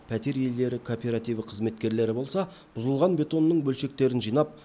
пәтер иелері коопиративі қызметкерлері болса бұзылған бетонның бөлшектерін жинап